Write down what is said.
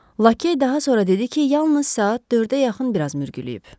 Lakey daha sonra dedi ki, yalnız saat 4-ə yaxın biraz mürgüləyib.